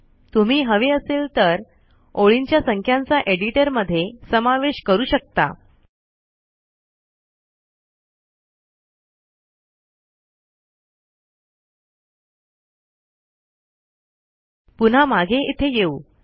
तुम्ही हवे असेल तर ओळींच्या संख्यांचा एडीटर मध्ये सामेवेश करू शकता पुन्हा मागे इथे येऊ